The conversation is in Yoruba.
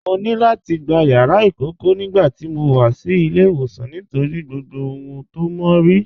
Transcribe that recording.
Mọ̀ ní láti gbà yàrà ikọ̀kọ̀ nigbàtí mó wà sí ilẹ̀-ìwọsan nítorí gbogbo ohun tó mọ̀ rí.